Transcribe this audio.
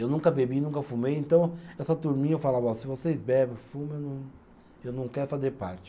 Eu nunca bebi, nunca fumei, então essa turminha eu falava ó, se vocês bebem, fumam, eu não, eu não quero fazer parte.